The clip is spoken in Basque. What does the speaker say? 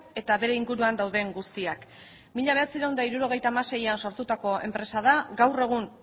eta bere inguruan dauden guztiak mila bederatziehun eta hirurogeita hamaseian sortutako enpresa da gaur egun